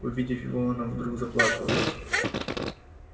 увидев его она вдруг заплакала